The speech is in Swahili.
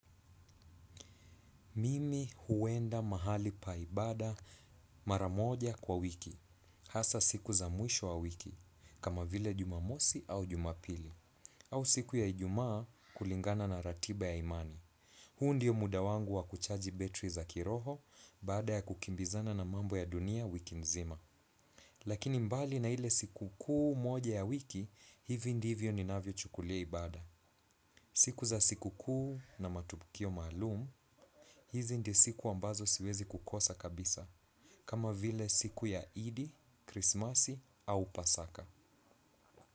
Mimi huenda mahali pa ibada mara moja kwa wiki hasa siku za mwisho wa wiki kama vile jumamosi au jumapili au siku ya ijumaa kulingana na ratiba ya imani. Huu ndiyo muda wangu wa kuchaji betri za kiroho baada ya kukimbizana na mambo ya dunia wiki nzima. Lakini mbali na ile siku kuu moja ya wiki hivi ndivyo ninavyo chukulia ibada. Siku za siku kuu na matukio maalum hizi ndio siku ambazo siwezi kukosa kabisa. Kama vile siku ya idi krismasi au pasaka.